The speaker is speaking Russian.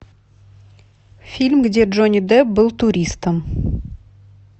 фильм где джонни депп был туристом